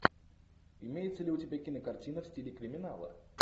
имеется ли у тебя кинокартина в стиле криминала